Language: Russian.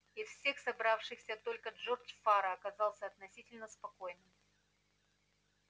из всех собравшихся только джордж фара казался относительно спокойным